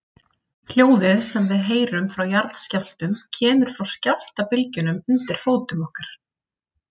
Hljóðið sem við heyrum frá jarðskjálftum kemur frá skjálftabylgjunum undir fótum okkar.